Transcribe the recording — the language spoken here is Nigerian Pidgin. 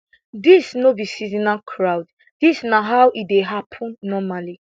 dis no be seasonal crowd dis na how e dey happun normally